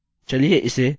चलिए इसे ऐनोटेट करते हैं